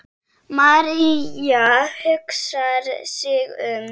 María hugsar sig um.